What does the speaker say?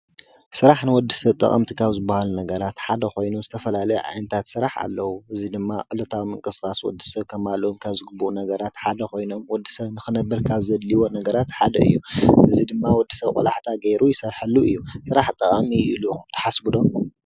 ስራሕ ንወዲ ሰብ ጠቐምቲ ካብ ዝብሃሉ ነገራት ሓደ ኾይኑ ዝተፈላለዩ ዓይነታት ስራሕ ኣለዉ፡፡ እዙይ ድማ ዕለታዊ ምንቅስቓስ ወዲ ሰብ ከማልዎም ካብ ዝግባእ ነገራት ሓደ ኾይኖም ወዲ ሰብ ንኽነብር ካብ ዘድልየዎ ነገራት ሓደ እዩ፡፡ እዙይ ድማ ወዲ ሰብ ቆላሕታ ገይሩ ይሰርሓሉ እዩ፡፡ ስራሕ ጠቓሚ እዩ ኢሉኹም ትሓስቡ ዶ?